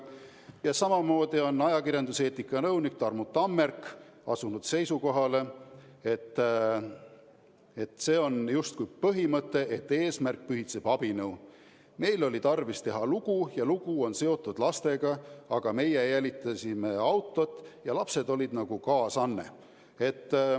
Ja samamoodi on ajakirjanduseetika nõunik Tarmu Tammerk asunud seisukohale, et siin on justkui lähtutud põhimõttest, et eesmärk pühitseb abinõu: "Meil oli tarvis teha lugu ja lugu on seotud lastega, aga meie jälitasime autot ja lapsed on nagu kaasanne.